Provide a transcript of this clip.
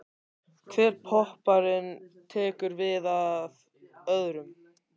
Hver popparinn tekur við af öðrum.